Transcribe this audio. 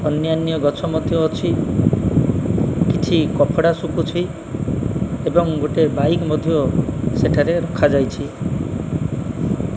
ଅନ୍ୟାନ୍ୟ ଗଛ ମଧ୍ୟ ଅଛି କିଛି କପଡ଼ା ଶୁଖୁଚି ଏବଂ ଗୋଟେ ବାଇକ୍ ମଧ୍ୟ ସେଠାରେ ରଖା ଯାଇଛି।